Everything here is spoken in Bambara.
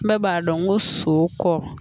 Bɛɛ b'a dɔn ko so kɔkɔ